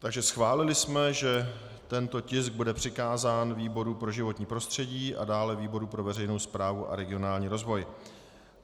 Takže schválili jsme, že tento tisk bude přikázán výboru pro životní prostředí a dále výboru pro veřejnou správu a regionální rozvoj.